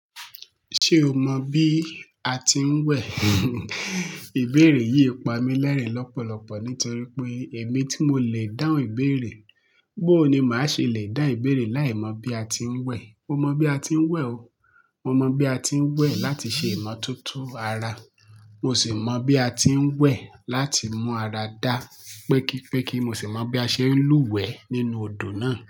Ṣé o mọ bí a ti ń wẹ̀? Ìbéèrè yìí pamú lérè lọ́pọ̀lọpọ̀ nítorí pé èmi tí mo lè dáhùn ìbéèrè, bó ni màá ṣe le dá ìbéèrè láìmọ̀ bí a ti ń wẹ̀. Mo mọ bí a ti ń wẹ̀ o. Mo mọ bí a ti ń wẹ̀ láti ṣe ìmọ̀tótó ara. Mo sì mọ bí a ti ń wẹ̀ láti mú ara dá, pẹ́kípẹ́kí mo sì mọ bí a ṣe ń lúwẹ̀ẹ́ nínú odò náà.